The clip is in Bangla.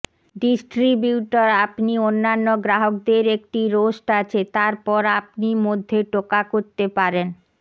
ডিস্ট্রিবিউটর আপনি অন্যান্য গ্রাহকদের একটি রোস্ট আছে তারপর আপনি মধ্যে টোকা করতে পারেন